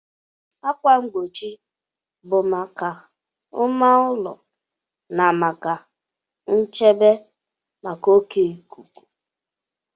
Ákwà mgbochi bụ maka mma ulo na maka nchebe maka oke ikuku.